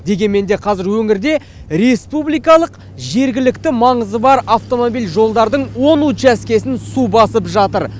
дегенмен де қазір өңірде республикалық жергілікті маңызы бар автомобиль жолдардың он учаскесін су басып жатыр